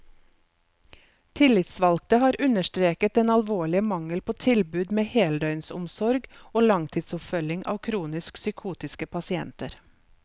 Tillitsvalgte har understreket den alvorlige mangel på tilbud med heldøgnsomsorg og langtidsoppfølging av kronisk psykotiske pasienter.